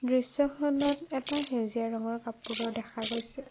দৃশ্যখনত এটা সেউজীয়া ৰঙৰ কপোৰো দেখা গৈছে।